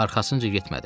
Arxasınca getmədim.